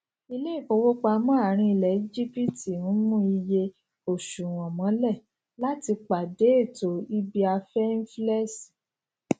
iléifowopamọ àárín ilẹ egypt ń mú iye oṣuwọn mọlẹ láti pàdé ètò ibiafẹ inflẹṣọn